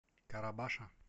карабаша